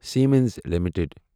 Siemens limited